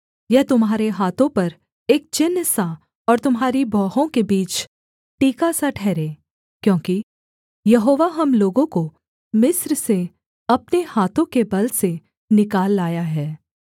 यह तुम्हारे हाथों पर एक चिन्हसा और तुम्हारी भौहों के बीच टीकासा ठहरे क्योंकि यहोवा हम लोगों को मिस्र से अपने हाथों के बल से निकाल लाया है